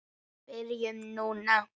Byrjum núna.